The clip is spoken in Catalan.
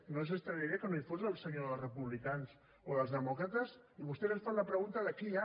no els estranyaria que no hi fossin els senyors republicans o els demòcrates i vostès ens fan la pregunta de qui hi ha